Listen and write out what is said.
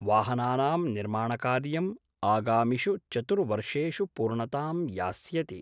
वाहनानां निर्माणकार्यं आगामिषु चतुर्वर्षेषु पूर्णतां यास्यति।